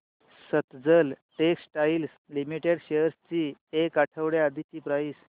Sutlej textiles limited shares ची एक आठवड्या आधीची प्राइस